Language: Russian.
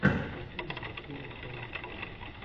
последняя серия тома слайма